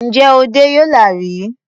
Ǹjẹ́ o dẹ́ Yola rí?